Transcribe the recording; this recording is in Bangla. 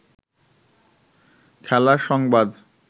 খেলার সংবাদ